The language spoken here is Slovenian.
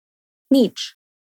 Nič.